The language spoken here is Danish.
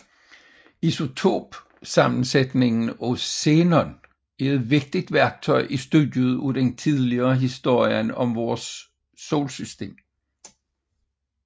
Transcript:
Isotopsammensætningen af xenon er et vigtigt værktøj i studiet af den tidlige historie om vores solsystem